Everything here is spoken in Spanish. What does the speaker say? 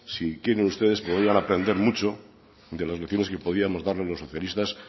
si quieren ustedes volver a aprender mucho de las lecciones que podríamos darles los socialistas